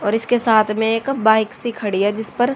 और इसके साथ में एक बाइक सी खड़ी है जिस पर--